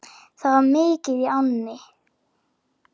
Það var mikið í ánni.